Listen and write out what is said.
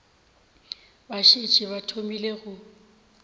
ba šetše ba thomile go